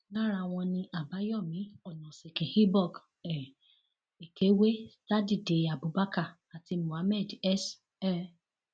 lára wọn ni àbáyọmí onosìkín ibok um èkéwé sadìde abubakar àti muhammad s um